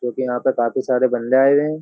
क्योंकि यहां पर काफी सारे बंदे आए हुए हैं।